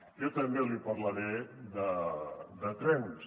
jo també li parlaré de trens